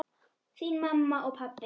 Þín mamma og pabbi.